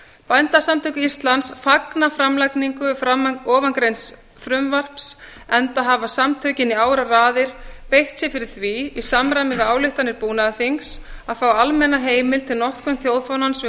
bændasamtök íslands fagna framlagningu ofangreinds frumvarps enda hafa samtökin í áraraðir beitt sér fyrir því í samræmi við ályktanir búnaðarþings að fá almenna heimild til notkunar þjóðfánans við